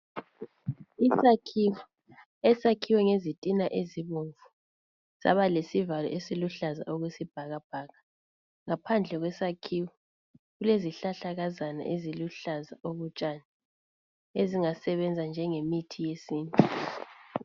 Isakhiwo esakhiwe ngezitina ezibomvu saba lesivalo esiluhlaza okwesibhakabhaka. Ngaphandle kwesakhiwo kulezihlahlakazana eziluhlaza okotshani ezingasebenza njengemithi yesintu.